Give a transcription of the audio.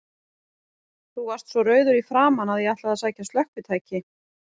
Þú varst svo rauður í framan að ég ætlaði að sækja slökkvitæki.